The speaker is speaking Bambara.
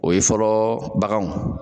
O ye fɔlɔ baganw